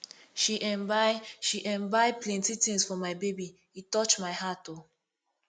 she um buy she um buy plenty tins for my baby e touch my heart o